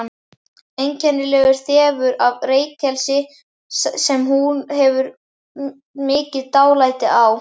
Einkennilegur þefur af reykelsi sem hún hefur mikið dálæti á.